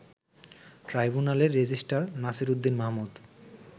ট্রাইব্যুনালের রেজিস্ট্রার নাসিরউদ্দিন মাহমুদ